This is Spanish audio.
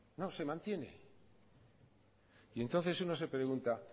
se mantiene y entonces uno se pregunta